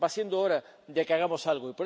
Europeo. Va siendo hora de que hagamos